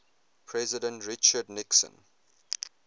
president richard nixon